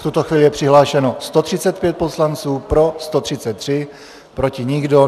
V tuto chvíli je přihlášeno 135 poslanců, pro 133, proti nikdo.